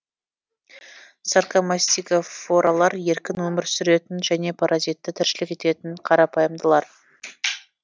саркомастигофоралар еркін өмір сүретін және паразитті тіршілік ететін қарапайымдылар